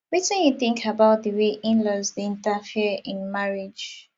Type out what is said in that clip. wetin you think about di way inlaws dey interfere in marriage